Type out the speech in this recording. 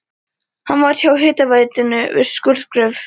Hann vann hjá hitaveitunni við skurðgröft.